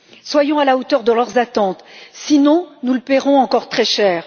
Soyons à la hauteur de leurs attentes, sinon nous le paierons encore très cher.